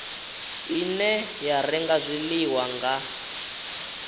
ine ya renga zwiḽiwa nga